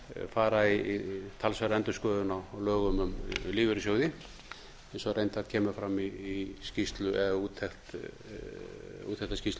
fara í talsverða endurskoðun á lögum um lífeyrissjóði eins og reyndar kemur fram í úttekt úr þessari skýrslu um